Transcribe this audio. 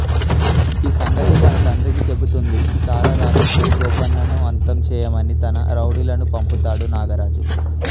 ఈ సంగతి తన తండ్రికి చెబుతుంది తార రాజశ్రీ గోపన్నను అంతం చేయమని తన రౌడీలను పంపుతాడు నాగరాజు